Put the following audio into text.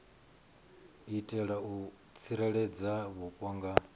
itela u tsireledza vhupo nga